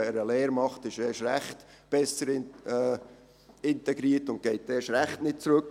Wer eine Lehre absolviert, ist erst recht besser integriert und geht erst recht nicht zurück.